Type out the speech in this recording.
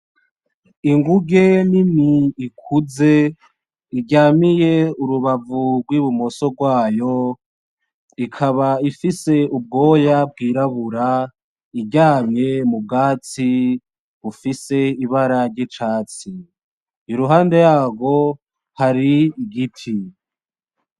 Inguge nini ikuze iryamiye urubavu rw'ibumoso rwayo ikaba ifise ubwoya bwirabura iryamye mu bwatsi bufise ibara ry'icatsi kuruhande yaho hari igiti.